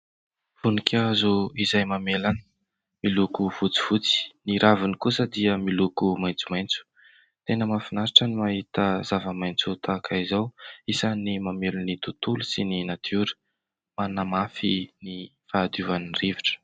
Voninkazo izay mamelana miloko fotsifotsy, ny raviny kosa dia miloko maitsomaitso. Tena mahafinaritra ny mahita zava-maitso tahaka izao. Isany mamelona ny tontolo sy ny natiora manamafy ny fahadiovan' ny rivotra.